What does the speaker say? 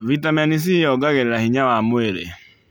Vitameni c yongagĩrĩra hinya wa mwĩrĩ